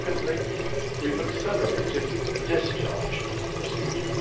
Secondly, we've accelerated the discharge procedure.